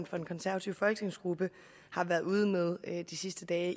for den konservative folketingsgruppe har været ude med de sidste dage